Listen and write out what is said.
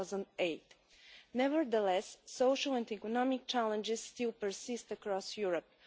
2008. Nevertheless, social and economic challenges persist across Europe.